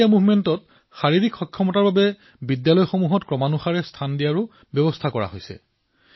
fit India মুভমেণ্টত ফিটনেছক লৈ বিদ্যালয়সমূহৰ মূল্যায়নৰ ব্যৱস্থা কৰা হৈছে